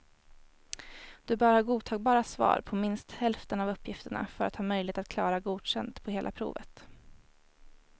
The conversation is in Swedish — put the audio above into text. Du bör ha godtagbara svar på minst hälften av uppgifterna för att ha möjlighet att klara godkänd på hela provet.